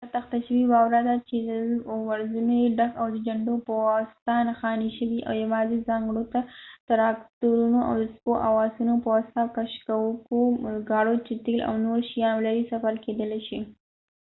دا تخته شوې واوره ده چې درزونه یې ډک او د جنډو پواسطه نښاني شوي دا یواځې د ځانګړو تراکتورونو او د سپو او آسونو پواسطه کشکوونکو ګاړو چې تیل او نور شیان ولري سفر کیدلای شي